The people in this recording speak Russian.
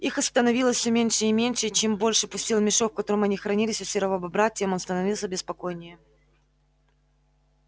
их становилось все меньше и меньше и чем больше пустел мешок в котором они хранились у серого бобра тем он становился беспокойнее